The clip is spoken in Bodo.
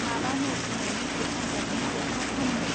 माबानो दिनै मेट्रिक आनजादनि जोबथा साननो.